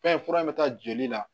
Fɛn fura in bɛ taa joli la